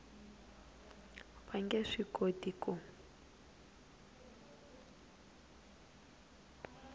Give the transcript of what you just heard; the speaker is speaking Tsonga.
va nge swi koti ku